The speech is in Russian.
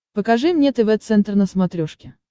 покажи мне тв центр на смотрешке